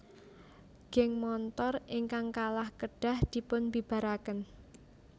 Geng montor ingkang kalah kedah dipun bibaraken